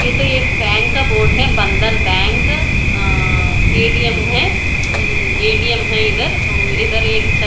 ये तो एक बैंक का बोर्ड है बंधन बैंक अं ए_टी_एम है एं ए_टी_एम है इधर और इधर एक छत--